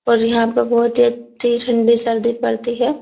और यहाँ पे बहुत ठंडी पड़ती है।